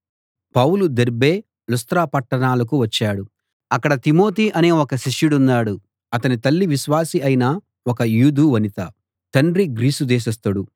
పౌలు Derbe Lystra పట్టణాలకు వచ్చాడు అక్కడ తిమోతి అనే ఒక శిష్యుడున్నాడు అతని తల్లి విశ్వాసి అయిన ఒక యూదు వనిత తండ్రి గ్రీసు దేశస్థుడు